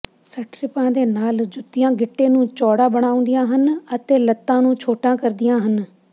ਸਟਰਿੱਪਾਂ ਦੇ ਨਾਲ ਜੁੱਤੀਆਂ ਗਿੱਟੇ ਨੂੰ ਚੌੜਾ ਬਣਾਉਂਦੀਆਂ ਹਨ ਅਤੇ ਲੱਤਾਂ ਨੂੰ ਛੋਟਾ ਕਰਦੀਆਂ ਹਨ